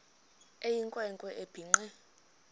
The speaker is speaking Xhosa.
eyinkwe nkwe ebhinqe